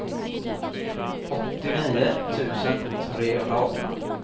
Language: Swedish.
åttionio tusen trehundraarton